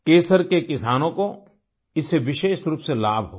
केसर के किसानों को इससे विशेष रूप से लाभ होगा